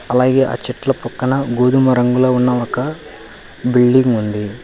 అలాగే ఆ చెట్లు పక్కన గోధుమ రంగులో ఉన్న ఒక బిల్డింగ్ ఉంది.